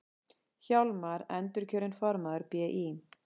Hjálmar endurkjörinn formaður BÍ